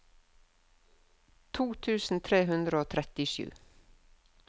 to tusen tre hundre og trettisju